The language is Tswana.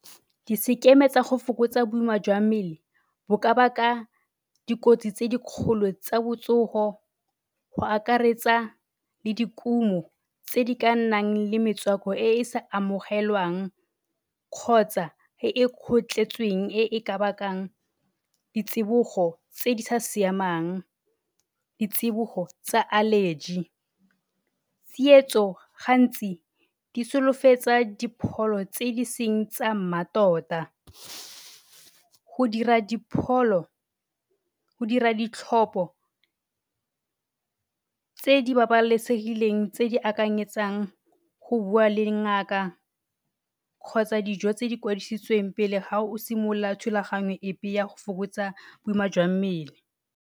Disekeme tsago fokotsa boima jwa mmele bo ka baka dikotsi tse di kgolo tsa botsogo go akaretsa le dikumo tse di ka nnang le metswako e e sa amogelwang kgotsa e e kgotlhetsweng e e ka bakang ditsibogo tse di sa siamang, di tsibogo tsa allergy. Tsietso gantsi di solofetsa dipholo tse e seng tsa mmatota, go dira dipholo, go dira ditlhopho, tse di babalesegileng tse di akanyetsang go bua le ngaka kgotsa dijo tse di kwadisitsweng pele ga o simolola thulaganyo epe ya go simolola go fokotsa boima jwa mmele.